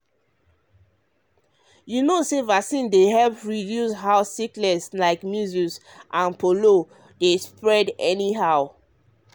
you know say vaccine dey help reduce how sickness like measles and polio dey spread anyhow.